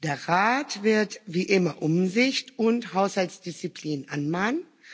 Der Rat wird, wie immer, Umsicht und Haushaltsdisziplin anmahnen.